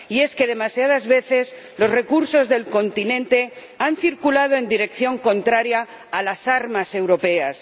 Y es que, demasiadas veces, los recursos del continente han circulado en dirección contraria a las armas europeas.